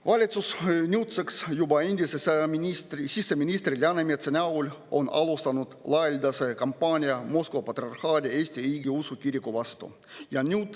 Valitsus on nüüdseks juba endise siseministri Läänemetsa alustanud laialdast kampaaniat Moskva Patriarhaadi Eesti Õigeusu Kiriku vastu.